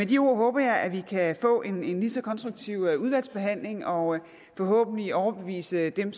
de ord håber jeg at vi kan få en lige så konstruktiv udvalgsbehandling og forhåbentlig overbevise dem